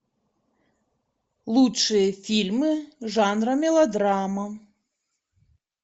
лучшие фильмы жанра мелодрама